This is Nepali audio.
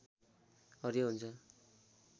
हरियो हुन्छ